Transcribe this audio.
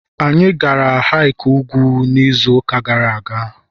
anyị gara hick ugwu n'izu ụka gara aga